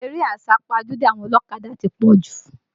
Eré àsápajúdé àwọn ọlọ́kadà ti pọ̀ jù